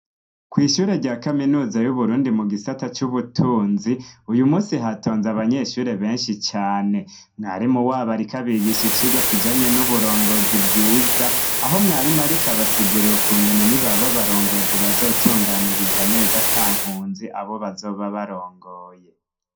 Kw'ishure rya kaminuza y'uburundi mu gisata c'ubutunzi, uyu musi hatonze abanyeshure benshi cane, mwarimu wabo, ariko abigisha icirwa kijanye n'uburongozi bwiza, aho mwarimarikabasiguruwe ku ngene ni baba barongozi bazotunganiriza neza ata nkunzi abo bazoba barongoye.